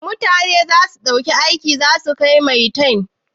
Mutanan da za ku ɗauka aiki za su kai maitan?